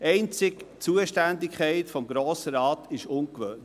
Einzig die Zuständigkeit des Grossen Rates ist ungewöhnlich;